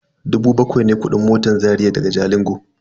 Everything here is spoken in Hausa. Dubu bakwai ne kudin motan Zaria daga Jalingo.